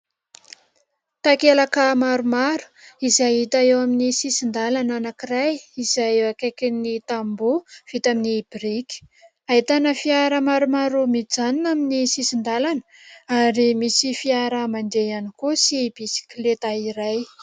Takelaka maromaro izay hita eo amin'ny sisin-dalana anankiray izay eo akaikiny tamboho vita amin'ny boriky, ahitana fiara maromaro mijanona amin'ny sisin-dalana ary misy fiara mande ihany koa sy bisikileta iray.